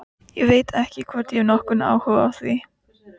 Ég veit ekki hvort ég hef nokkurn áhuga á því.